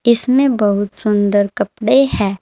इसमें बहुत सुंदर कपड़े हैं।